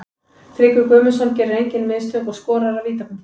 Tryggvi Guðmundsson gerir engin mistök og skorar af vítapunktinum.